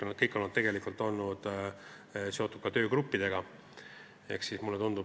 Kõik nad on tegelikult olnud ka töögruppidega seotud.